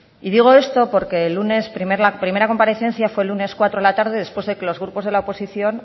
y digo esto porque el lunes la primera comparecencia fue el lunes a las dieciséis cero de la tarde después de que los grupos de la oposición